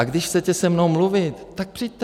A když chcete se mnou mluvit, tak přijďte.